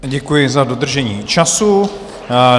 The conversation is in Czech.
Děkuji za dodržení času.